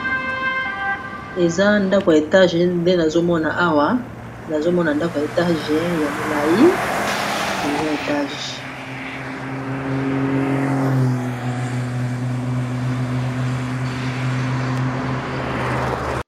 Eza ndako ya etage nde nazomona awa nazomona ndako ya etage ya molai eza etage.